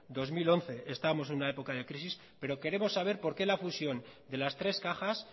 dos mil once estábamos en una época de crisis pero queremos saber por qué la fusión de las tres cajas